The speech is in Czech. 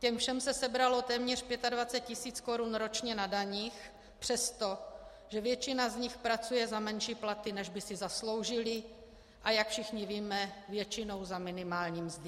Těm všem se sebralo téměř 25 tisíc korun ročně na daních přesto, že většina z nich pracuje za menší platy, než by si zasloužili, a jak všichni víme, většinou za minimální mzdy.